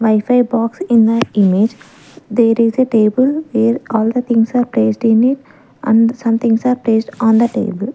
wifi box in the image there is a table where all the things are placed in a and somethings are placed on the table.